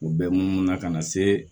O bɛ munumunu na ka na se